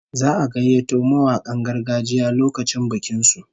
Za'a gayyato mawakan gargajiya lokacin bikin su